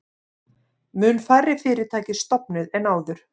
Mun færri fyrirtæki stofnuð en áður